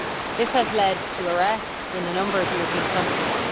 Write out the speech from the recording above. This has led to arrests in a number of European countries.